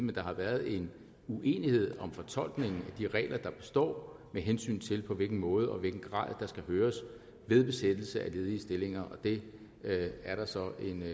men der har været en uenighed om fortolkningen af de regler der består med hensyn til på hvilken måde og i hvilken grad der skal høres ved besættelse af ledige stillinger men det er der så